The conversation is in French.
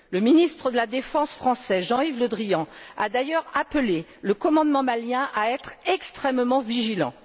Le ministre de la défense français, Jean Yves Le Drian, a d'ailleurs appelé le commandement malien à être extrêmement vigilant.